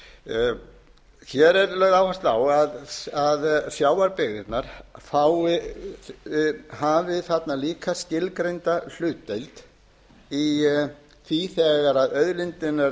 reiknireglum lögð er áhersla á að sjávarbyggðirnar hafi þarna líka skilgreinda hlutdeild í því þegar auðlindin er